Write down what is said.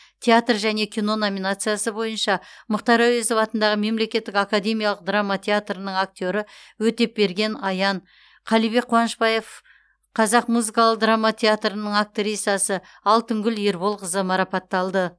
театр және кино номинациясы бойынша мұхтар әуезов атындағы мемлекеттік академиялық драма театры актері өтепберген аян қалибек қуанышбаев қазақ музыкалық драма театрының актрисасы алтынгүл ерболқызы марапатталды